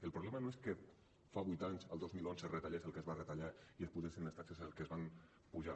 el problema no és que fa vuit anys el dos mil onze es retallés el que es va retallar i s’apugessin les taxes el que es van apujar